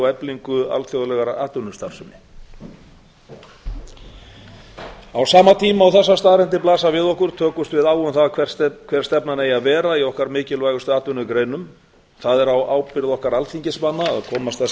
eflingu alþjóðlegrar atvinnustarfsemi á sama tíma og þessar staðreyndir blasa við okkur tökumst við á um það hver stefnan eigi að vera í okkar mikilvægustu atvinnugreinum það er á ábyrgð okkar alþingismanna að komast að sem